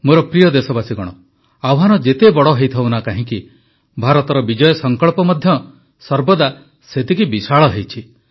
ମୋର ପ୍ରିୟ ଦେଶବାସୀଗଣ ଆହ୍ୱାନ ଯେତେ ବଡ଼ ହୋଇଥାଉ ନା କାହିଁକି ଭାରତର ବିଜୟ ସଂକଳ୍ପ ମଧ୍ୟ ସର୍ବଦା ସେତିକି ବିଶାଳ ହୋଇଛି